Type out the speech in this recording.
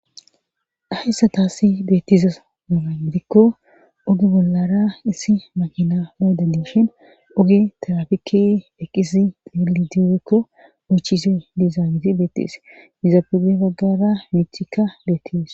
Haysan taassi beettiza aze gidikko oge bollara issi makina moodadiishin oge tarafike eqisi deeli dierekko mochise dizaaniti beettees yizapuge baggara miicthikka beetties